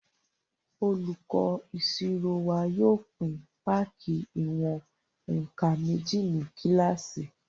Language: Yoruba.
Olùkọ́ ìṣirò wa yóò pín páàkì ìwọ̀n-nkan méjì ní kílásì